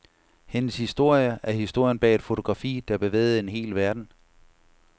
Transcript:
Hendes historie er historien bag et fotografi, der bevægede en hel verden.